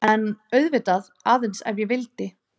En auðvitað,- aðeins ef ég vildi.